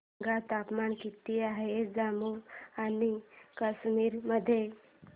सांगा तापमान किती आहे जम्मू आणि कश्मीर मध्ये